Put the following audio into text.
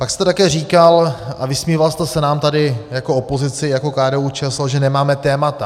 Pak jste také říkal a vysmíval jste se nám tady jako opozici, jako KDU-ČSL, že nemáme témata.